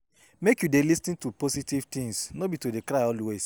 Make you dey lis ten to positive things, no be to dey cry always.